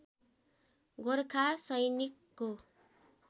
गोरखा सैनिकको